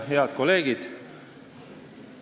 Head kolleegid!